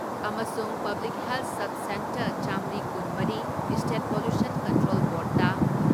ꯑꯃꯁꯨꯡ public health subcentre ꯆꯥꯝꯔꯤ ꯀꯨꯟ ꯃꯔꯤ ꯏꯁꯇꯦꯠ ꯄꯣꯜꯂꯨꯁꯟ ꯀꯟꯇ꯭ꯔꯣꯜ ꯕꯣꯔꯗꯇ